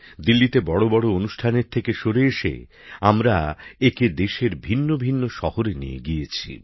দিল্লিতে বড় বড় অনুষ্ঠান আয়োজন করার ভাবনা থেকে সরে এসে আমরা একে দেশের ভিন্ন ভিন্ন শহরে নিয়ে গিয়েছি